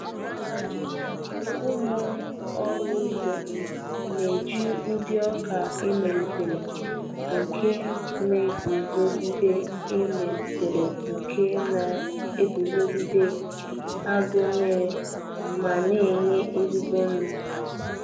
Ụmụ ọrụ ugbo na-eji ụdị oka emelitere nke na-eguzogide emelitere nke na-eguzogide agụụ nmiri ma na-enye ezigbo ụnụ.